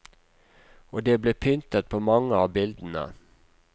Og det ble pyntet på mange av bildene.